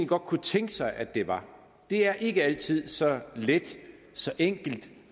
godt kunne tænke sig at det var det er ikke altid så let så enkelt